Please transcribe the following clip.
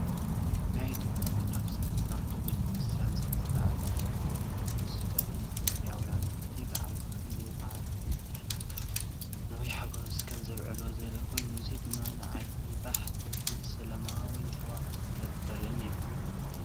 ናይ ኢትዮጵያ ኦርቶዶክሳዊት ተዋህዶ ቤተ ክርስቲያን ስነ ስርዓት ኤጲፋንዮስ ተርኢ። ኢትዮጵያውያን ነቲ በዓል ብኸመይ ብዓቢ ሃይማኖታዊ ኒሕን ሓጎስን ከም ዘብዕልዎ ዘርኢ ኮይኑ፡ እዚ ድማ ንዓይኒ ባህ ዘብልን ሰላማዊ ሃዋህው ዝፈጥርን እዩ፡፡